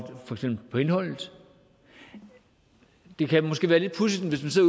til indholdet det kan måske være lidt pudsigt